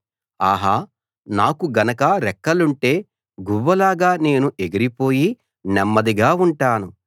ఆహా నాకు గనక రెక్కలుంటే గువ్వలాగా నేను ఎగిరిపోయి నెమ్మదిగా ఉంటాను